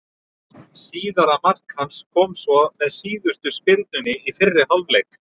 Síðara mark hans kom svo með síðustu spyrnunni í fyrri hálfleik.